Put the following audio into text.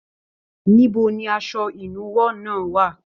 Níbo ní asọ ìnúwọ́ náà wà?